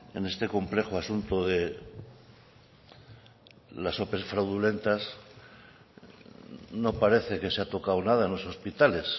en este complejo asunto de las ope fraudulentas no parece que se ha tocado nada en los hospitales